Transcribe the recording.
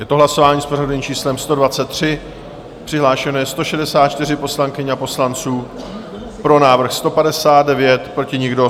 Je to hlasování s pořadovým číslem 123, přihlášeno je 164 poslankyň a poslanců, pro návrh 159, proti nikdo.